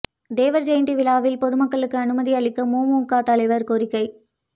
தேவா் ஜயந்தி விழாவில் பொதுமக்களுக்கு அனுமதி அளிக்க மூமுக தலைவா் கோரிக்கை